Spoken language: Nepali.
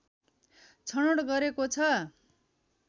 छनौट गरेको छ